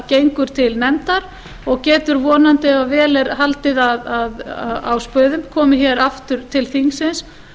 gengur til nefndar og getur vonandi ef vel er haldið á spöðum komið hér aftur til þingsins